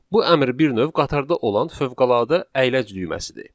Bu əmr bir növ qatarda olan fövqəladə əyləc düyməsidir.